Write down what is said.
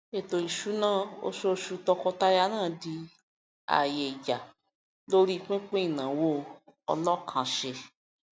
ètò ìṣúná oṣooṣu tọkọtaya náà di àyè ìjà lórí pínpín ìnáwó ọlọkànsẹ